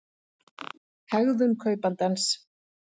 hegðun kaupandans